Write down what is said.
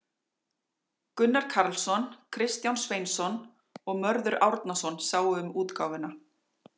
Gunnar Karlsson, Kristján Sveinsson og Mörður Árnason sáu um útgáfuna.